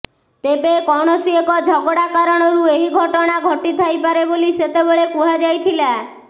ତେବେ କୌଣସି ଏକ ଝଗଡ଼ା କାରଣରୁ ଏହି ଘଟଣା ଘଟିଥାଇପାରେ ବୋଲି ସେତେବେଳେ କୁହାଯାଇଥିଲା